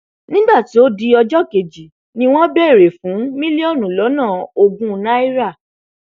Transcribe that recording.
nígbà tó di ọjọ kejì ni wọn béèrè fún mílíọnù lọnà ogún náírà